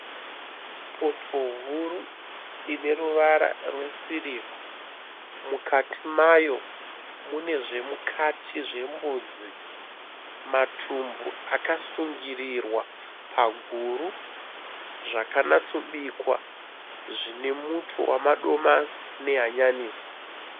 Poto huru ine ruvara rwesirivha. Mukati mayo mune zvemukati zvembudzi. Matumbu akasungirirwa paguru. Zvakanatsobikwa zvine muto wamadomasi nehanyanisi.